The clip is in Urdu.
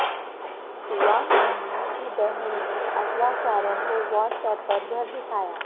دعا منگی کی بہن نے اغواکاروں کو واٹس ایپ پر گھر دکھایا